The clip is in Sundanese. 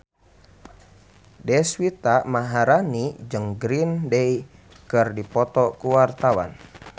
Deswita Maharani jeung Green Day keur dipoto ku wartawan